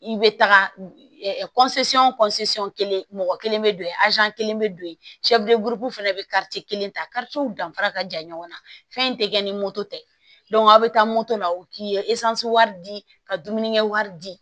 I bɛ taga kelen mɔgɔ kelen bɛ don yen kelen bɛ don yen fana bɛ kelen ta danfara ka jan ɲɔgɔn na fɛn in tɛ kɛ ni tɛ aw bɛ taa la u k'i ye wari di ka dumunikɛ wari di